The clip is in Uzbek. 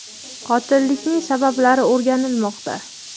Qotillikning sabablari o‘rganilmoqda.